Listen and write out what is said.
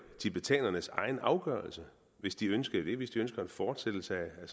tibetanernes egen afgørelse hvis de ønsker det hvis de ønsker en fortsættelse af